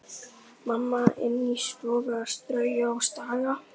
Mamma inni í stofu að strauja og staga.